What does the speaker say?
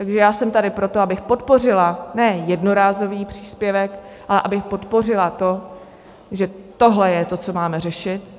Takže já jsem tady proto, abych podpořila ne jednorázový příspěvek, ale abych podpořila to, že tohle je to, co máme řešit.